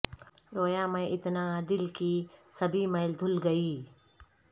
رویا میں اتنا دل کی سبھی میل دھل گئی